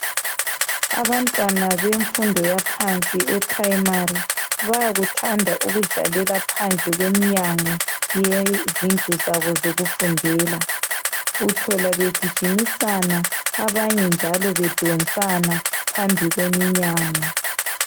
Abantwana bemfundo yaphansi e phurayimari bayakuthanda ukudlalela phandle komnyango yezidlu zabo zokufundela uthola begijimisana abanye njalo bedonsana phambi kweminyango.